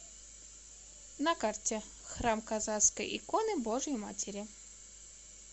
на карте храм казанской иконы божией матери